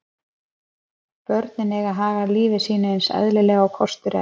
Börnin eiga að haga lífi sínu eins eðlilega og kostur er.